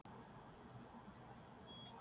Hvað sagði Edda við sínar stelpur í hálfleik?